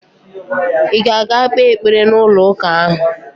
Ị ga-aga kpee ekpere n'ụlọụka ahụ?